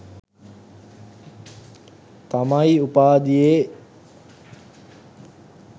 තමයි උපාධියේ